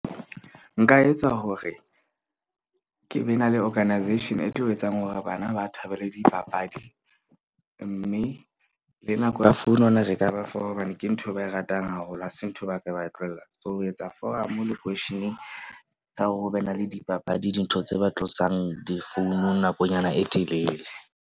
Nka etsa hore ke be na le organisation e tlo etsang hore bana ba thabele dipapadi. Mme le nako ya phone hobane ke nthwe ba e ratang haholo. Ha se ntho e ba ka ba tlohella. So, ho etsa foramo lokweisheneng ka hore ho be na le dipapadi. Dintho tse ba tlosang difounung nakonyana e telele.